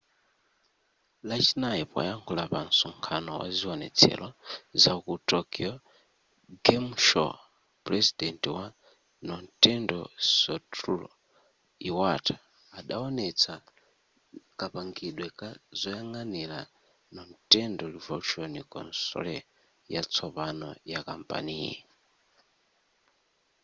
lachinayi poyankhula pa msonkhano waziwonetsero zaku tokyo game show pulezidenti wa nintendo satoru iwata adawonetsa kapangidwe ka zoyang'anira nintendo revolution console yatsopano yakampaniyi